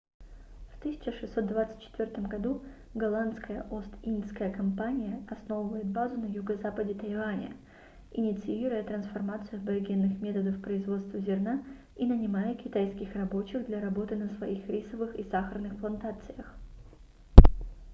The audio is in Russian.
в 1624 году голландская ост-индская компания основывает базу на юго-западе тайваня инициируя трансформацию аборигенных методов производства зерна и нанимая китайских рабочих для работы на своих рисовых и сахарных плантациях